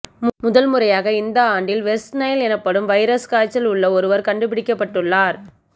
முதல் முறையாக இந்த ஆண்டில் வெஸ்ற்நைல் எனப்படும் வைரஸ் காய்ச்சல் உள்ள ஒருவர் கண்டுபிடிக்கப்பட்டுள்ளார்